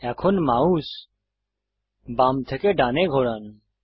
এখন মাউস বাম থেকে ডানে ঘোরান